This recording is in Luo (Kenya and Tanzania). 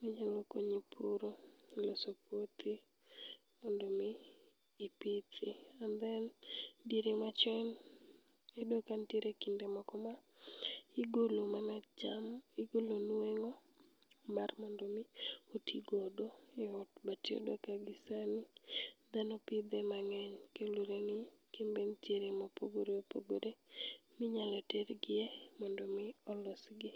manyalokonyi puro, loso puothi mondo omi ipithi. And then, diere machon, iyudo kanitiere kinde moko ma igolo mana cham igolo nweng'o mar mondomi otigodo e ot. But iyudo ka gisani, dhano pidhe mang'eny. Kendore ni, kembe nitiere mopogore opogore minyalo tergie mondo mi olosgi.